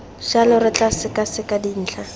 jalo re tla sekaseka dintlha